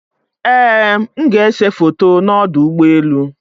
Ee m ga-ese foto na ọdụ ụgbọelụ